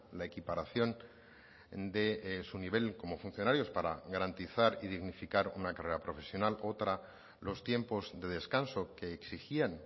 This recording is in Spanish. la equiparación de su nivel como funcionarios para garantizar y dignificar una carrera profesional otra los tiempos de descanso que exigían